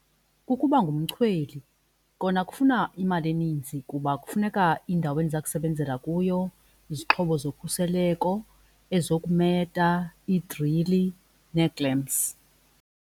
Kukuba ngumchweli. Kona kufuna imali eninzi kuba kufuneka indawo endiza kusebenzela kuyo izixhobo zokhuseleko ezokumeta iidrili nee-clamps.